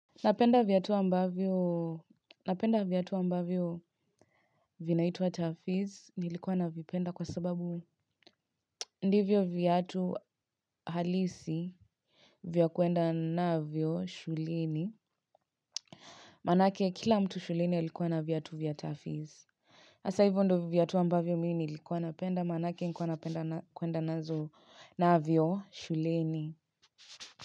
Napenda viatu ambavyo vinaitwa Tafiz nilikuwa navipenda kwa sababu ndivyo viatu halisi vya kwenda navyo shulini. Maana yake kila mtu shuleni alikuwa na viatu vya Tafiz hasa hivyo ndo viatu ambavyo minilikuwa napenda maana yake nilikuwa napenda kwenda navyo shuleni.